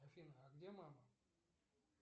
афина а где мама